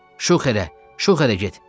Şuxerə, şuxerə get.